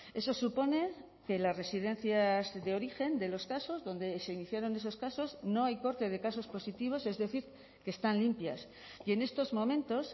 eso supone que las residencias de origen de los casos donde se iniciaron esos casos no hay corte de casos positivos es decir que están limpias y en estos momentos